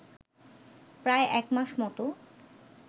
প্রায় একমাস মতো